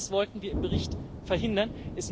Genau das wollten wir im Bericht verhindern.